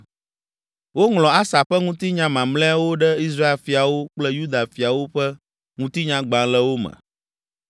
Woŋlɔ Asa ƒe ŋutinya mamlɛawo ɖe Israel fiawo kple Yuda fiawo ƒe Ŋutinyagbalẽwo me.